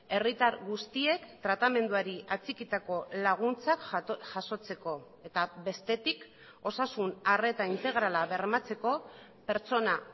herritar guztiek tratamenduari atxikitako laguntzak jasotzeko eta bestetik osasun arreta integrala bermatzeko pertsona